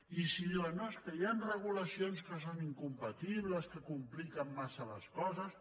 i si diuen no és que hi han regulacions que són incompatibles que compliquen massa les coses